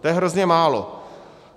To je hrozně málo.